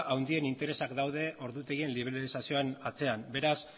handien interesak daude ordutegien liberalizazioaren atzean beraz